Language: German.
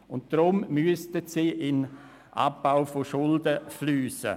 Deshalb sollen sie in den Abbau von Schulden fliessen.